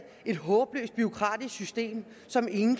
et håbløst bureaukratisk system som ingen